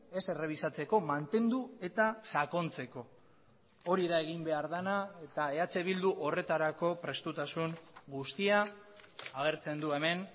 ez errebisatzeko mantendu eta sakontzeko hori da egin behar dena eta eh bildu horretarako prestutasun guztia agertzen du hemen